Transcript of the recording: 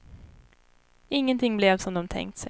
Ingenting blev som de tänkt sig.